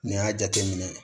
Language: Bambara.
N'i y'a jateminɛ